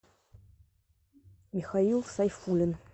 михаил сайфулин